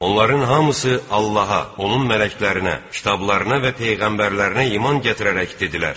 Onların hamısı Allaha, onun mələklərinə, kitablarına və peyğəmbərlərinə iman gətirərək dedilər: